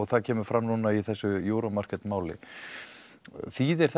það kemur fram í þessu Euro Market máli þýðir